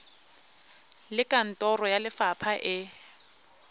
le kantoro ya lefapha e